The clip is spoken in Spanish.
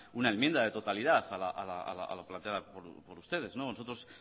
una enmienda de totalidad a la planteada por ustedes nosotros